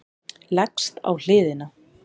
Leggst á hliðina.